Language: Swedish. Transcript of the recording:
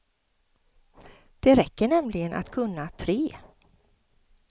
Det räcker nämligen att kunna tre.